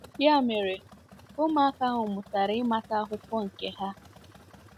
Ya mere, ụmụaka ahụ mụtara ịmata akwụkwọ nke ha.